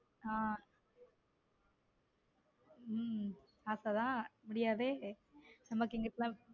ஹம் உம் ஆசை தான் முடியாதே நம்மக்கு இங்குட்டு.